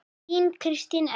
Þín Kristín Edda.